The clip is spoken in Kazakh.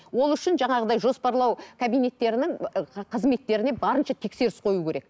ол үшін жаңағыдай жоспарлау кабинеттерінің қызметтеріне барынша тексеріс қою керек